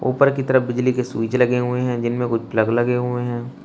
ऊपर की तरफ बिजली के स्विच लगे हुए हैं जिनमें कुछ प्लग लगे हुए हैं।